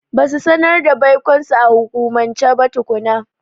Ba su sanar da baikonsu a hukumance ba tukuna.